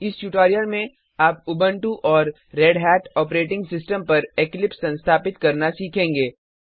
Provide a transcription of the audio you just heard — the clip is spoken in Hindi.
इस ट्यूटोरियल में आप उबंटू और रेढ़त ऑपरेटिंग सिस्टम पर इक्लिप्स संस्थापित करना सीखेंगे